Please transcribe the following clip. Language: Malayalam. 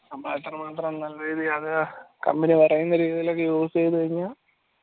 നമ്മൾ അത്രമാത്രം നല്ല രീതിയിൽ അത് company പറയുന്ന രീതിയിലൊക്കെ use ചെയ്ത് കഴിഞ്ഞ